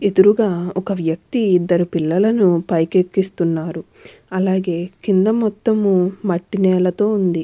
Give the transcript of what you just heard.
ఎదురుగా ఒక వ్యక్తి ఇద్దరు పిల్లలను పైకెక్కిస్తున్నారు. అలాగే కింద మొత్తం మట్టి నేలతో ఉంది.